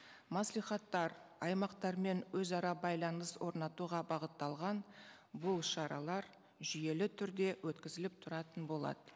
мәслихаттар аймақтармен өзара байланыс орнатуға бағытталған бұл шаралар жүйелі түрде өткізіліп тұратын болады